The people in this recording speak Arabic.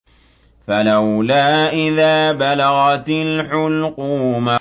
فَلَوْلَا إِذَا بَلَغَتِ الْحُلْقُومَ